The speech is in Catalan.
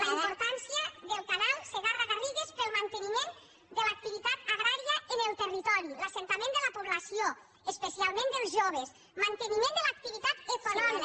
la importància del canal segarra garrigues per al manteniment de l’activitat agrària en el territori l’assentament de la població especialment dels joves manteniment de l’activitat econòmica